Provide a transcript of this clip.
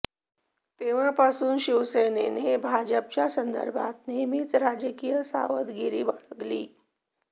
तेव्हापासून शिवसेनेने भाजपच्या संदर्भात नेहमीच राजकीय सावधगिरी बाळगली